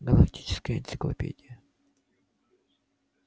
галактическая энциклопедия